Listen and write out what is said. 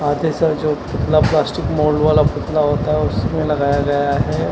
आते सर जो पुतला प्लास्टिक मोल्ड वाला पुतला होता है उसमें लगाया गया है।